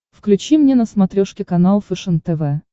включи мне на смотрешке канал фэшен тв